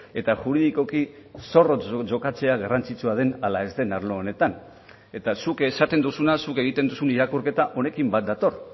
eta juridikoki zorrotz jokatzea garrantzitsua den ala ez den arlo honetan eta zuk esaten duzuna zuk egiten duzun irakurketa honekin bat dator